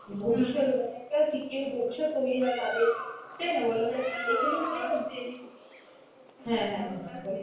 ভবিষ্যৎ মানে একটা secure ভবিষ্যৎ তৈরি হয় তাদের, তাই না বলতো এগুলো মানে, হ্যাঁ হ্যাঁ বোলো,